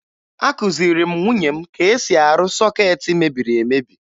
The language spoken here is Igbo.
Akụziri m nwunye m ka e si arụ sọkeetị mebiri emebi